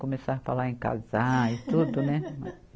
Começar a falar em casar e tudo, né?